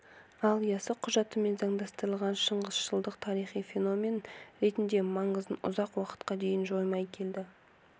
ал ясы құжатымен заңдастырылған шыңғысшылдық тарихи феномен ретінде маңызын ұзақ уақытқа дейін жоймай келді